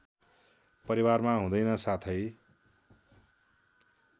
परिवारमा हुँदैन साथै